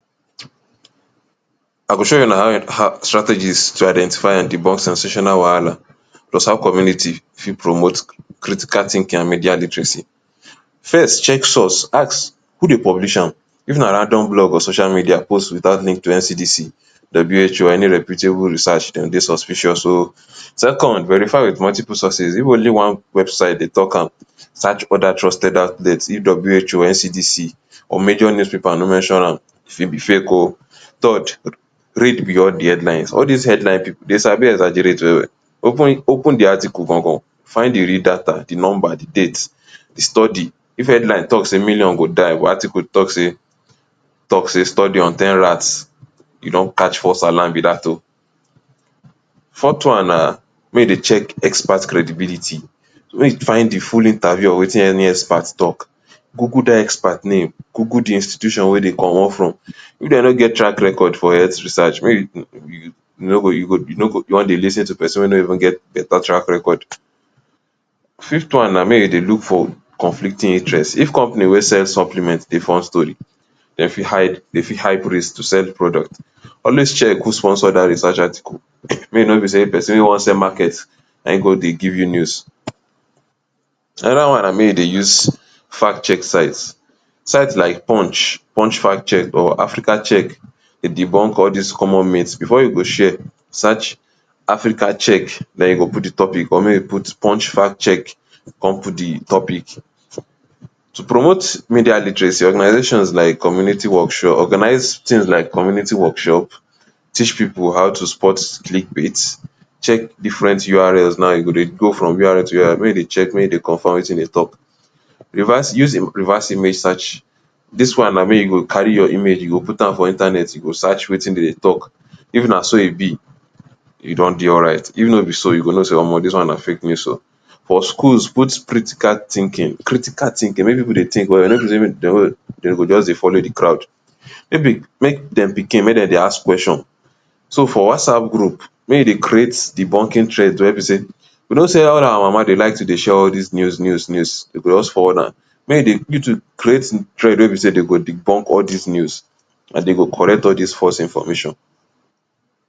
I go show una how strategies to identify and debunk sensational wahala plus how community fit promote critical thinking and media literacy. First, check source. Ask who dey publish am. If na random blog or social media post without link to NCDC, WHO or any reputable research dem dey suspicious um. Second, verify wit multiple sources. If only one website dey talk am, search other trusted outlets. If WHO, NCDC or major newspaper no mention am, e fit be fake um. Third, read beyond de headlines. All dis headlines pipu, dey sabi exaggerate well well. Open de article gan gan, find de real data, de number, de date, de study. If headline talk say million go die but article talk say talk say study on ten rats, you don catch false alarm be dat um. Fourth one na make you dey check expert credibility. Wen you find de full interview of wetin any expert talk, google dat expert name, google de institutions wey dey commot from. If dem no get track record for health research make you you no go you no go you won dey lis ten to person wey no even get better track record. Fifth one na make you dey look for conflicting interest. If company wey sell supplement dey form story dey fit hide dey fit hide to sell product. Always check who sponsor dat research article, make e no be sey person wan sell market na e go dey give you news. Another one na make you dey use fact check sites; sites like Punch, punch fact check or African check dey debunk all dis common Before you go share, search Africa check. Na you go put de topic or punch fact check come put de topic. To promote media literacy organizations like community workshop, organize things like community workshop, teach pipu how to spot click baits, check different URLs, now you go dey go from URL to URL make you dey check make you confirm wetin e dey talk. Reverse, use reverse image search. Dis one na make you go carry your image, you go put am for Internet, you go search wetin dem dey talk. If na so e be, e don dey alright. If no be so you go know dey omo dis one na fake news[um]. For schools put critical thinking, critical thinking, make pipu dey think well well Dem go just dey follow de crowd. If de make dem pikin make dem dey ask question. So for Whatsapp group make dey create debunking trend wey be sey, you know say all our mama dey like show all dis news news news. Dey go just forward am. Make you dey you too create trend wey be sey dey go debunk all dis news, dey go correct all dis false information.